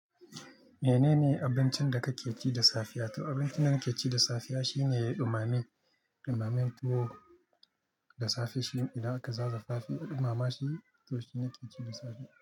Menene abincin da ka ke ci da safiya? To abincin da na ke ci da safiya shine dumame. Dumamen tuwo da safe shine idan aka zaza dumama shi to shi nake ci da safe.